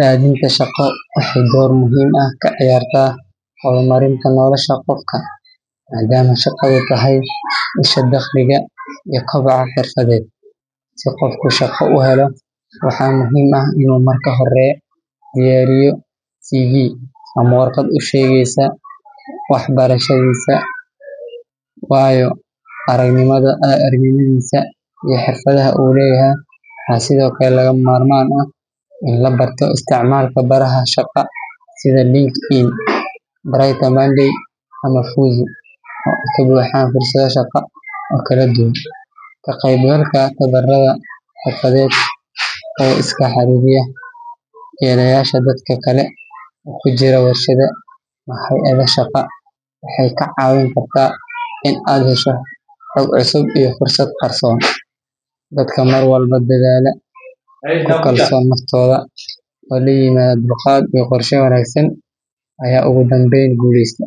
Raadinta shaqo waxay door muhiim ah ka ciyaartaa horumarinta nolosha qofka maadaama shaqadu tahay isha dakhliga iyo kobaca xirfadeed. Si qofku shaqo u helo, waxaa muhiim ah inuu marka hore diyaariyo CV ama warqad u sheegaysa waxbarashadiisa, waayo-aragnimadiisa iyo xirfadaha uu leeyahay. Waxaa sidoo kale lagama maarmaan ah in la barto isticmaalka baraha shaqo sida LinkedIn, BrighterMonday ama Fuzu oo ay ka buuxaan fursado shaqo oo kala duwan. Ka qaybgalka tababarrada xirfadeed iyo iskaa wax u qabso waxay kordhiyaan fursadda shaqo helidda. Intaa waxaa dheer, la sheekaysiga ama xiriir la yeelashada dadka kale ee ku jira warshadaha ama hay’adaha shaqo waxay kaa caawin kartaa in aad hesho xog cusub iyo fursado qarsoon. Dadka mar walba dadaala, ku kalsoon naftooda, oo la yimaada dulqaad iyo qorshe wanaagsan ayaa ugu dambeyn guuleysta.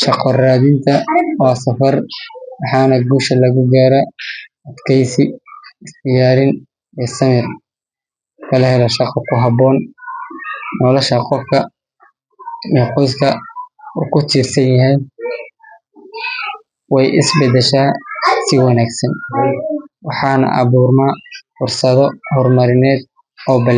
Shaqo raadinta waa safar, waxaana guusha lagu gaaraa adkeysi, is diyaarin iyo samir. Marka la helo shaqo ku habboon, nolosha qofka iyo qoyska uu ka tirsan yahay way is beddeshaa si wanaagsan, waxaana abuurma fursado horumarineed oo.